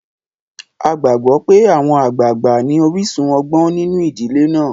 A gbàgbó pé àwọn àgbàgbà ní orísun ọgbọ́n nínu ìdílé náà.